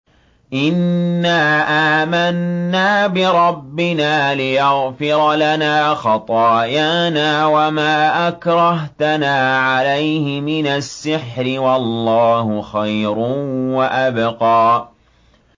إِنَّا آمَنَّا بِرَبِّنَا لِيَغْفِرَ لَنَا خَطَايَانَا وَمَا أَكْرَهْتَنَا عَلَيْهِ مِنَ السِّحْرِ ۗ وَاللَّهُ خَيْرٌ وَأَبْقَىٰ